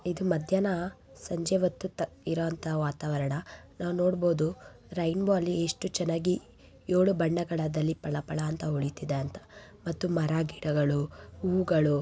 ಇದು ಮಧ್ಯಾಹ್ನ ಸಂಜೆ ಹೊತ್ತು ಇರ ಅಂತ ವಾತಾವರಣ ನಾವು ನೋಡಬಹುದು ರೇನ್ಬೋ ಅಲ್ಲಿ ಏಳು ಬಣ್ಣಗಳಲ್ಲಿ ಪಳಪಳ ಅಂತ ಒಳಿತಿದೆ ಅಂತ ಮತ್ತು ಮರ ಗಿಡಗಳು ಹೂಗಳು--